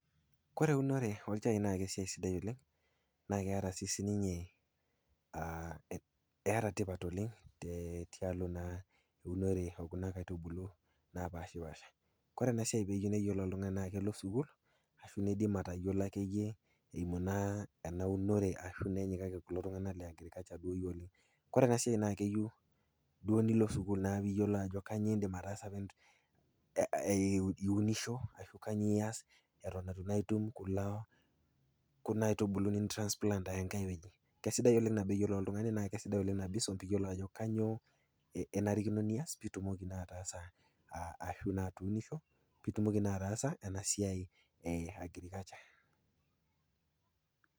kore eunore olchai naa kesiai sidai oleng', naa keataa sii ninye tipat oleng' te tialo naa e kuna kaitubulu napaashipasha. Kore ena siai peyiou neyiolou oltung'ani naa peelo alo sukuul, anaa pee eng'as ayiolou ake iyie eimu naa ena eunore ashu nenyikaki kulo tung'ana le agirikacha duo ake iyie oleng'. Kore ena siai naa keyou nilo sukuul naa piyoulou ajo kanyoo indim ataasa pee iunisho anaa ias eton itum kulo, kuna aitubulu niintransplant ayaa enkai wueji. Esidai oleng' nabo iyou niyolou oltung'ani naa aisidai oleng' teniyou naaji nisum piidol ajo kainyoo enarikino nias piitumoki naa ataasa ashu naa atuunisho, piitumoki naa ataasa esiai e agirikacha.